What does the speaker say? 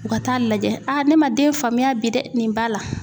U ka taa'a lajɛ ne man den faamuya bi dɛ nin b'a la.